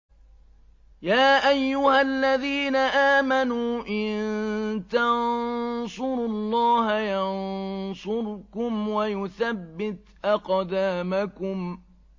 يَا أَيُّهَا الَّذِينَ آمَنُوا إِن تَنصُرُوا اللَّهَ يَنصُرْكُمْ وَيُثَبِّتْ أَقْدَامَكُمْ